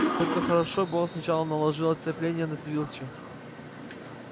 только хорошо бы он сначала наложил оцепенение на филча